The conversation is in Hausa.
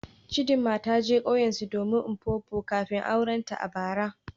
Chidima ta je kauyensu domin Mpopo kafin aurenta a bara.